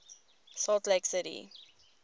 salt lake city